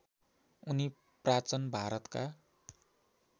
उनी प्राचन भारतका